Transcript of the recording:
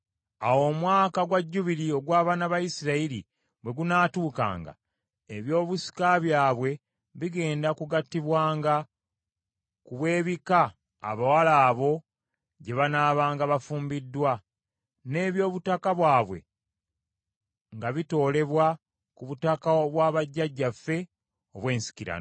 Awo Omwaka gwa Jjubiri ogw’abaana ba Isirayiri bwe gunaatuukanga, ebyobusika byabwe bigenda kugattibwanga ku bw’ebika abawala abo gye banaabanga bafumbiddwa, n’eby’obutaka bwabwe nga bitoolebwa ku butaka obwa bajjajjaffe obw’ensikirano.”